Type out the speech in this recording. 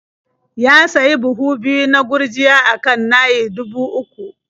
Ya sayi buhu biyu na gurjiya a kan naia dubu uku.